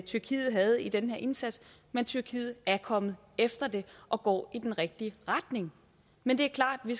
tyrkiet havde i den her indsats men tyrkiet er kommet efter det og går i den rigtige retning men det er klart at vi